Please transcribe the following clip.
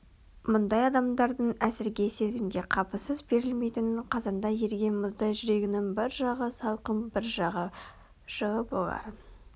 мұндай адамдардың әсерге сезімге қапысыз берілмейтінін қазанда еріген мұздай жүрегінің бір жағы салқын бір жағы жылы боларын